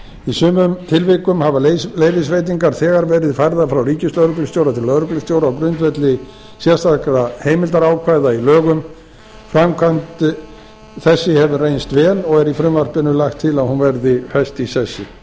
í sumum tilvikum hafa leyfisveitingar þegar verið færðar frá ríkislögreglustjóra til lögreglustjóra á grundvelli sérstakra heimildarákvæða í lögum framkvæmd þessi hefur reynst vel og er í frumvarpinu lagt til að hún verði fest í sessi